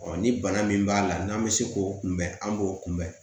ni bana min b'a la n'an bɛ se k'o kunbɛn an b'o kunbɛn